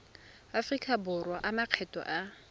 aforika borwa a makgetho a